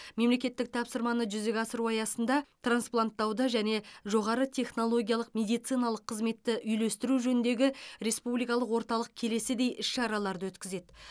мемлекеттік тапсырманы жүзеге асыру аясында транспланттауды және жоғары технологиялық медициналық қызметті үйлестіру жөніндегі республикалық орталық келесідей іс шараларды өткізеді